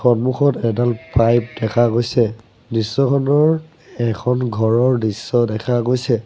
সন্মুখত এডাল পাইপ দেখা গৈছে দৃশ্যখনৰ এখন ঘৰৰ দৃশ্য দেখা গৈছে।